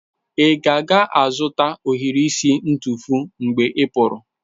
Ị ka ga-azụta ohiri isi ntufu mgbe ị pụrụ?